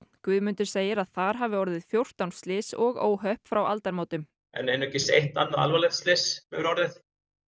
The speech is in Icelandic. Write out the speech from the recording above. Guðmundur segir að þar hafi orðið fjórtán slys og óhöpp frá aldamótum en einungis eitt annað alvarlegt slys hefur orðið